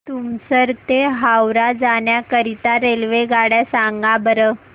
तुमसर ते हावरा जाण्या करीता रेल्वेगाड्या सांगा बरं